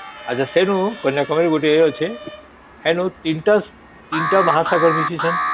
ଆଛା ସେଇନୁ କନ୍ୟାକୁମାରୀ ଗୋଟେ ଅଛି ସେଇନୁ ତିନ ଟା ତିନ ଟା ମହା ସାଗର ମିସିଛନ